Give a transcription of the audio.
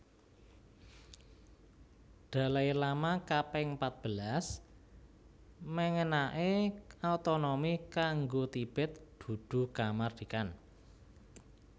Dalai Lama kaping patbelas méngénaké otonomi kanggo Tibet dudu kamardikan